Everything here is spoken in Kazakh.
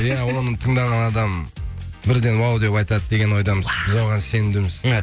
иә оны тыңдаған адам бірден вау деп айтады деген ойдамыз біз оған сенімдіміз